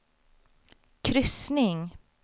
kryssning